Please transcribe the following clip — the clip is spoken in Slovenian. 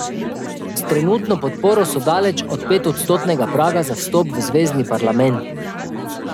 S trenutno podporo so daleč od petodstotnega praga za vstop v zvezni parlament.